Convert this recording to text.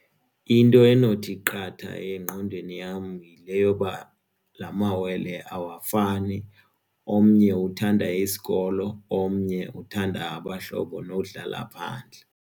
Into enothi qatha engqondweni yam yile yoba lamawele awafani omnye uthanda isikolo omnye uthanda abahlobo nodlala phandle.